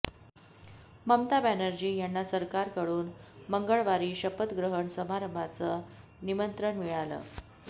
ममता बॅनर्जी यांना सरकारकडून मंगळवारी शपथग्रहण समारंभाचं निमंत्रण मिळालं